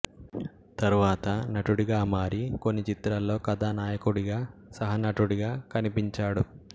తర్వాత నటుడిగా మారి కొన్ని చిత్రాల్లో కథానాయకుడిగా సహనటుడిగా కనిపించాడు